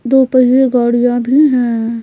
दो पहिए गाड़ियां भी है।